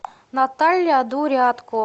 наталья дурятко